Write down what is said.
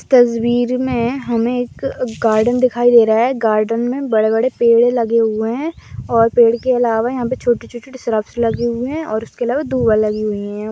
तस्वीर मे हमे एक गार्डन दिखाई दे रहा है गार्डन मे बड़े बड़े पेड़े लगे हुए है और पेड़ के अलावा यहा पे छोटे छोटे श्रुब्स लगे हुए है और उसके अलावा दुर्वा लगी हुई है।